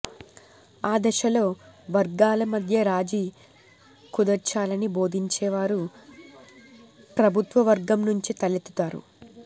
ఆ దశలో వర్గాల మధ్య రాజీ కుదర్చాలని బోధించేవారు ప్రభుత్వవర్గం నుంచే తలెత్తుతారు